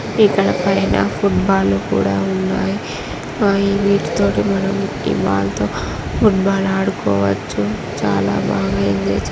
ఇక్కడ పైన football లు కూడా ఉన్నాయి. ఆ వీటితోటి మనం ఈ వాల్ తో ఫుట్ బాల్ ఆడుకోవచ్చు. చాలా బాగయింది.